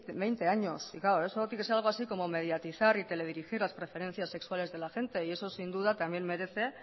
veinte años claro eso tiene que ser algo así como mediatizar y teledirigir las preferencias sexuales de la gente eso sin duda también merece